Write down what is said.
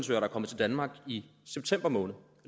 der er kommet til danmark i september måned